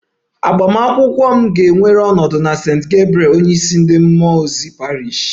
Agbamakwụkwọ m ga-ewere ọnọdụ na St. Gabriel onyeisi ndị mmụọ ozi Parish